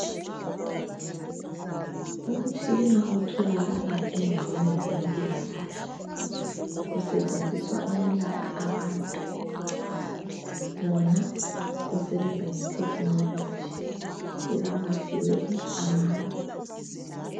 Umtshina otholakala endaweni zempilakahle. Usetshenziswa ukwelapha abantu. Wona usebenza ngeTechnology. Ulamavili amane.